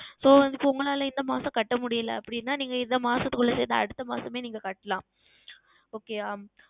So இப்பொழுது இந்த மாதம் உங்களால் கட்டமுடியவில்லை அப்படி என்றால் நீங்கள் இந்த மாதத்திற்குள்ளது அடுத்த மாதமே நீங்கள் கட்டலாம் Okay ஆஹ்